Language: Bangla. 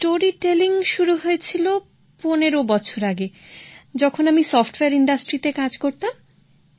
গল্প বলা শুরু হয়েছিল ১৫ বছর আগে যখন আমি সফটওয়্যার ইন্ডাস্ট্রিতে কাজ করতাম